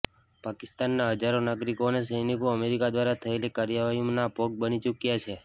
પાકિસ્તાનના હજારો નાગરિકો અને સૈનિકો અમેરિકા દ્વારા થયેલી કાર્યવાહીનાં ભોગ બની ચૂક્યાં છે